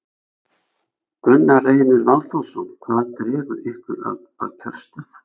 Gunnar Reynir Valþórsson: Hvað dregur ykkur að kjörstað?